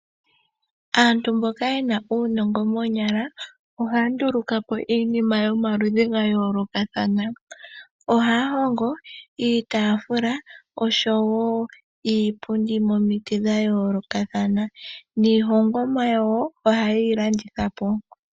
Aantu mboka yena uunongo moonyala, ohaya nduluka po iinima yomaludhi ga yoolokathana. Ohaya hongo iitafula oshowo iipundi momiti dha yoolokathana, niihongomwa yawo ohaye yi landitha po.